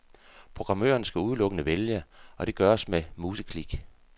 Programmøren skal udelukkende vælge, og det gøres med museklik.